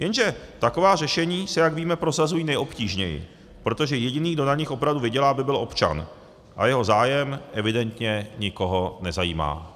Jenže taková řešení se, jak víme, prosazují nejobtížněji, protože jediný, kdo na nich opravdu vydělá, by byl občan, a jeho zájem evidentně nikoho nezajímá.